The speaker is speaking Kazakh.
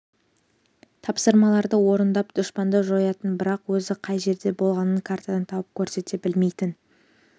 тапсырмаларды орындап дұшпанды жоятын бірақ өзі қай жерде болғанын картадан тауып көрсете білмейтін